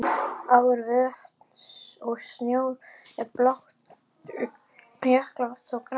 Ár, vötn og sjór er blátt, jökulvatn þó grænt.